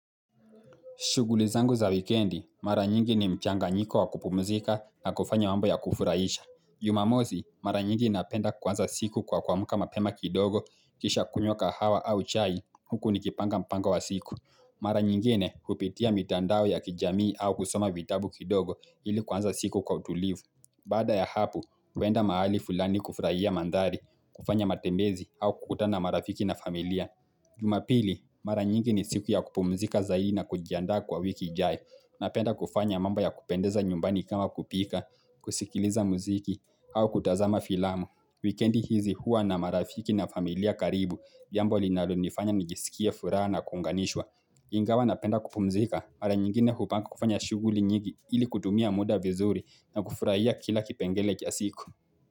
Shughuli zangu za wikendi, mara nyingi ni mchanganyiko wa kupumzika na kufanya mambo ya kufurahisha. Jumamosi, mara nyingi napenda kuanza siku kwa kuamka mapema kidogo kisha kunywa kahawa au chai huku nikipanga mpango wa siku. Mara nyingine hupitia mitandao ya kijamii au kusoma vitabu kidogo ili kuanza siku kwa utulivu. Baada ya hapo, huenda mahali fulani kufurahia mandhari, kufanya matembezi au kukutana na marafiki na familia. Jumapili, mara nyingi ni siku ya kupumzika zaidi na kujiandaa kwa wiki ijayo Napenda kufanya mamba ya kupendeza nyumbani kama kupika, kusikiliza muziki, au kutazama filamu Wikendi hizi hua na marafiki na familia karibu, jambo linalonifanya nijisikie furaha na kuunganishwa Ingawa napenda kupumzika, mara nyingine hupanga kufanya shughuli nyingi ili kutumia muda vizuri na kufurahia kila kipengele cha siku.